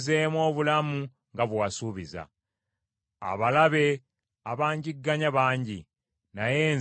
Abalabe abanjigganya bangi, naye nze siivenga ku biragiro byo.